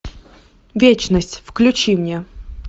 вечность включи мне